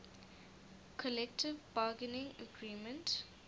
collective bargaining agreement